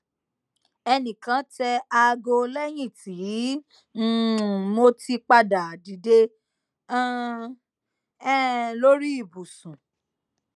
ẹnikan tẹ aago lẹyin ti um mo ti pada dide um um lori ibusun